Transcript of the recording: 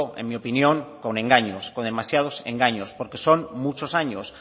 en mi opinión con engaños con demasiados engaños porque son muchos años